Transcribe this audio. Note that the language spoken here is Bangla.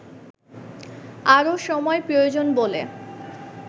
আরও সময় প্রয়োজন বলে